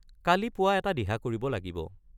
কালি পুৱা এটা দিহা কৰিব লাগিব।